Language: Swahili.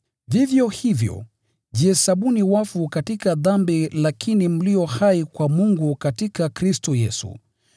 Vivyo hivyo, jihesabuni wafu katika dhambi lakini mlio hai kwa Mungu katika Kristo Yesu.